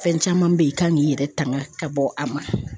Fɛn caman be yen i kan k'i yɛrɛ tanga ka bɔ a ma.